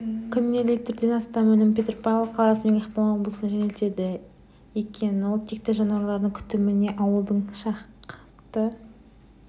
күніне литрден астам өнім петропавл қаласымен ақмола облысына жөнелтіледі екен ал текті жануарлардың күтіміне ауылдың шақты